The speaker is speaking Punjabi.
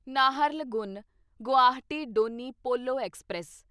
ਨਾਹਰਲਗੁਨ ਗੁਵਾਹਾਟੀ ਡੋਨੀ ਪੋਲੋ ਐਕਸਪ੍ਰੈਸ